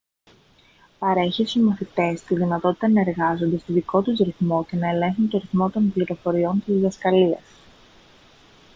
παρέχει στους μαθητές τη δυνατότητα να εργάζονται στον δικό τους ρυθμό και να ελέγχουν τον ρυθμό των πληροφοριών της διδασκαλίας